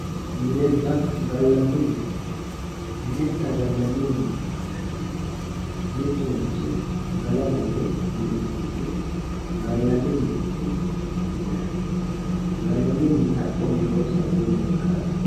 Minenna gallanni mine minenna gallanni mineeti yinaninhu mittu manchi galara yee mi'ninoha gallanni mineeti yinanni gallanni minni huaqqnniha woye sabbunniha ikkara dandaanno